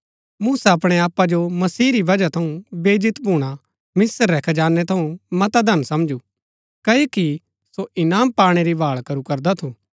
मूसा अपणै आपा जो मसीह री बजहा थऊँ बेईजत भूणा मिस्र रै खजानै थऊँ मता धन समझू क्ओकि सो इनाम पाणै री भाळ करू करदा थू